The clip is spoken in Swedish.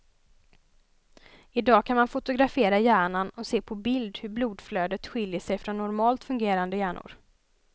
I dag kan man fotografera hjärnan och se på bild hur blodflödet skiljer sig från normalt fungerande hjärnor.